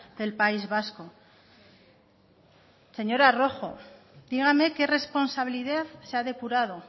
del país vasco señora rojo dígame qué responsabilidad se ha depurado